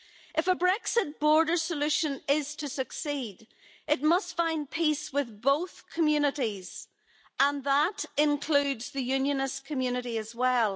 If a Brexit border solution is to succeed, it must find peace with both communities, and that includes the unionist community as well.